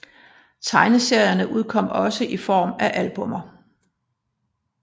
Tegneserierne udkom også i form af albummer